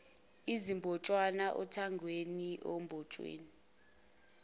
izimbotshana othangweni ondongeni